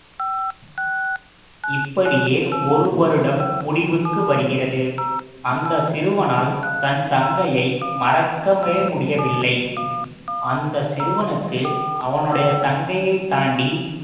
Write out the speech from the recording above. இப்படியே ஒரு வருடம் முடிவுக்கு வருகிறது அந்த சிறுவனால் தன் தங்கையை மறக்கவே முடியவில்லை அந்த சிறுவனுக்கு அவனுடைய தங்கையை தாண்டி